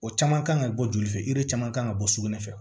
O caman kan ka bɔ joli fɛ caman kan ka bɔ sugunɛ fɛ